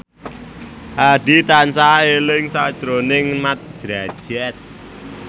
Hadi tansah eling sakjroning Mat Drajat